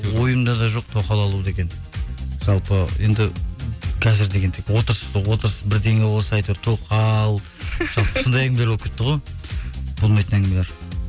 ойымда да жоқ тоқал алу деген жалпы енді қазір деген тек отырыс та отырыс бірдеңе болса әйтеуір тоқал сондай әңгімелер болып кетті ғой болмайтын әңгімелер